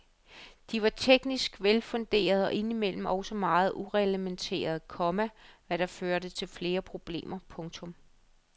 De var teknisk velfunderede og indimellem også meget ureglementerede, komma hvad der førte til flere problemer. punktum